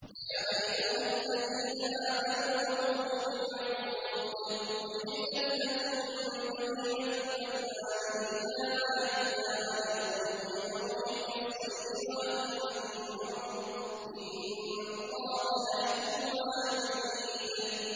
يَا أَيُّهَا الَّذِينَ آمَنُوا أَوْفُوا بِالْعُقُودِ ۚ أُحِلَّتْ لَكُم بَهِيمَةُ الْأَنْعَامِ إِلَّا مَا يُتْلَىٰ عَلَيْكُمْ غَيْرَ مُحِلِّي الصَّيْدِ وَأَنتُمْ حُرُمٌ ۗ إِنَّ اللَّهَ يَحْكُمُ مَا يُرِيدُ